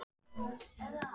Daði